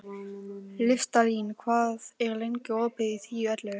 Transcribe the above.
Listalín, hvað er lengi opið í Tíu ellefu?